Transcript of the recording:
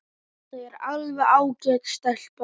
Þetta er alveg ágæt stelpa.